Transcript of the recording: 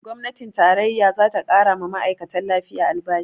Gwamnatin tarayya zata ƙarawa ma'aikatan lafiya albashi